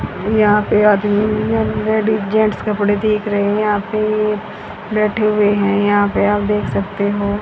यहां पे आदमी लेडीज जेंट्स कपड़े देख रहे है यहां पे बैठे हुए हैं यहां पे आप देख सकते हो